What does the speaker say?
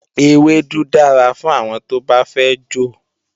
Ewédú dára fún àwọn tó bá fẹ́ jò